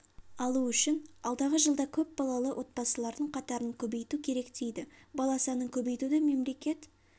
алу үшін алдағы жылда көп балалы отбасылардың қатарын көбейту керек дейді бала санын көбейтуді мемлекет